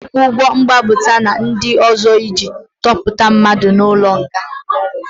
A na-akwụ ụgwọ mgbapụta na ndị ọzọ iji tọhapụ mmadụ n'ụlọ nga.